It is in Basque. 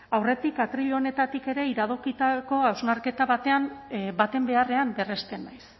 aurretik atril honetatik ere iradokitako hausnarketa baten beharrean berresten naiz